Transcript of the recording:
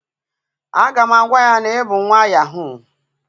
a ga m agwa ya na i bu nwa yahoo.